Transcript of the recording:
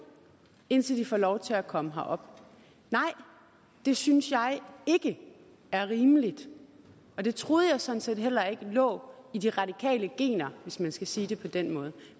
indtil de får lov til at komme herop nej det synes jeg ikke er rimeligt og det troede jeg sådan set heller ikke lå i de radikale gener hvis man skal sige det på den måde